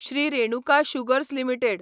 Shri Renuka sugars limited